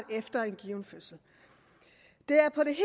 efter en given fødsel det er på det